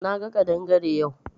Na ga kadangare yau.